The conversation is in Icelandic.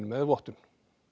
með vottun